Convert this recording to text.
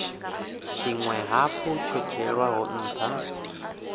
tshinwe hafhu tsho dzhielwaho ntha